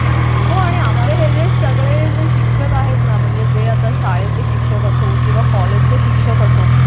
हो आणि आपले हे जे सगळे जे शिक्षक आहेत ना म्हणजे जे आता शाळेतले शिक्षक असो किंवा कॉलेजचे शिक्षक असो